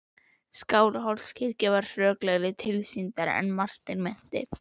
Skálholtskirkja var hrörlegri tilsýndar en Martein minnti.